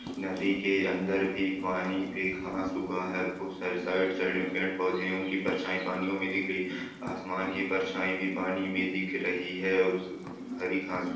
नदी के अंदर भी पानी पे घाँस ऊगा है बहुत सारे साइड साइड मे पेड़ पौधे है उनकी परछाई पानियो मे दिख रही है आसमान की परछाई भी पानी मे दिख रही है उस हरी घाँस--